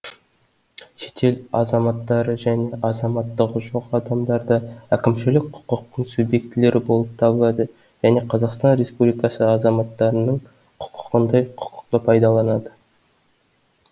шетел азаматтары және азаматтығы жоқ адамдар да әкімшілік құқықтың субъектілері болып табылады және қазақстан республикасы азаматтарының құкығындай құқықты пайдаланады